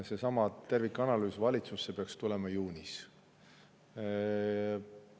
Seesama tervikanalüüs peaks valitsusse tulema juunis.